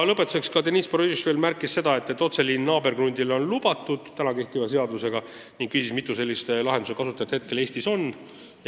Lõpetuseks märkis Deniss Boroditš veel seda, et praegu on seadusega lubatud otseliin naaberkrundile, ning küsis, mitu sellise lahenduse kasutajat Eestis on.